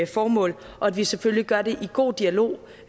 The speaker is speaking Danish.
formål og at vi selvfølgelig gør det i god dialog